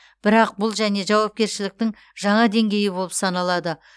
бірақ бұл және жауапкершіліктің жаңа деңгейі болып саналады